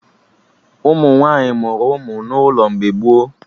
Ụmụ nwaanyị mụrụ ụmụ n'ụlọ mgbe gboo